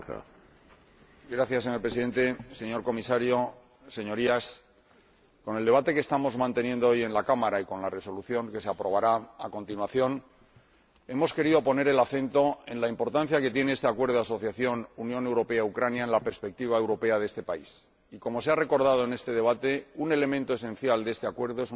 Señor Presidente, señor Comisario, Señorías, con este debate de hoy en la Cámara y con la resolución que se aprobará a continuación hemos querido destacar la importancia que tiene este Acuerdo de asociación Unión Europea Ucrania en la perspectiva europea de este país y ―como se ha recordado en este debate― un elemento esencial de dicho acuerdo es una cláusula democrática